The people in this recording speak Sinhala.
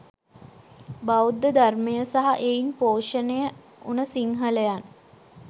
බෞද්ධ ධර්මය සහ එයින් පෝෂණය උන සිංහලයන්